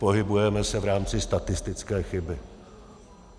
Pohybujeme se v rámci statistické chyby.